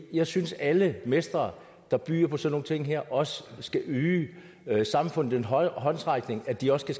jeg synes at alle mestre der byder på sådan nogle ting her også skal yde samfundet den håndsrækning så de også kan